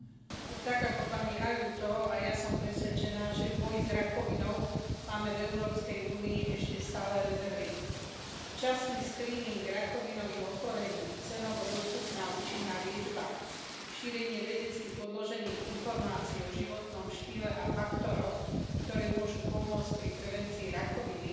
Vážená pani predsedajúca, tak ako pani Aiuto, aj ja som presvedčená, že v boji s rakovinou máme v Európskej únii ešte stále rezervy. Včasný skríning rakovinových ochorení, cenovo dostupná účinná liečba, šírenie vedecky podložených informácií o životnom štýle a faktoroch, ktoré môžu pomôcť pri prevencii rakoviny,